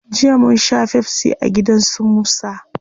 Jiya munsha pepsi a gida su musa